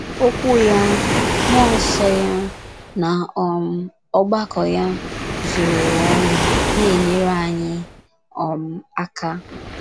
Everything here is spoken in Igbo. Okwu ya, mmụọ nsọ ya, na um ọgbakọ ya zuru ụwa ọnụ na - enyere anyị um aka.